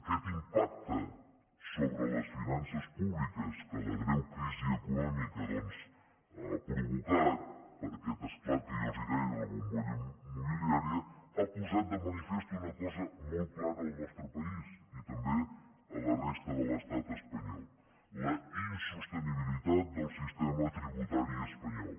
aquest impacte sobre les finances públiques que la greu crisi econòmica ha provocat per aquest esclat que jo els deia de la bombolla immobiliària ha posat de manifest una cosa molt clara al nostre país i també a la resta de l’estat espanyol la insostenibilitat del sistema tributari espanyol